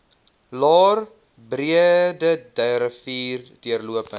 laer breederivier deurlopend